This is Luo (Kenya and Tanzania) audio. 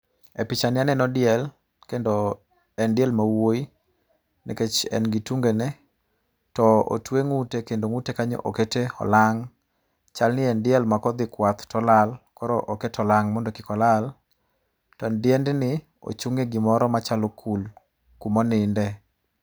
E pichani aneno diel, kendo en diel ma wuoyi, nikech en gi tungene. To otwe ngúte, kendo ngúte kanyo okete olang'. Chalni en diel ma kodhi kwath to olal, koro oket olang mondo kik olal. To diendni, ochung' e gimoro machalo kul kuma oninde.